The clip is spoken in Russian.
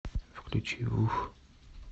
включи вуф